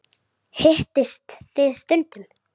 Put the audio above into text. Hittist þið stundum?